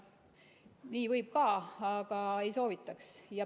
Nii võib ka, aga ei soovitaks.